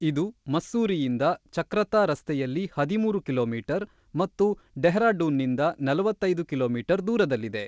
ಇದು ಮಸ್ಸೂರಿಯಿಂದ ಚಕ್ರಾತಾ ರಸ್ತೆಯಲ್ಲಿ ಹದಿಮೂರು ಕಿಲೋಮೀಟರ್ ಮತ್ತು ಡೆಹ್ರಾಡೂನ್‌ನಿಂದ ನಲವತ್ತ್ ಐದು ಕಿಲೋಮೀಟರ್ ದೂರದಲ್ಲಿದೆ.